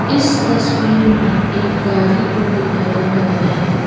इस तस्वीर में एक गाड़ी को दिखाया गया है।